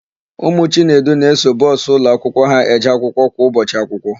Ụmụ Chinedu na-eso bọsụ ụlọakwụkwọ ha eje akwụkwọ kwa ụbọchị akwụkwọ.